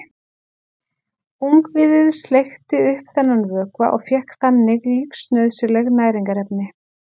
Ungviðið sleikti upp þennan vökva og fékk þannig lífsnauðsynleg næringarefni.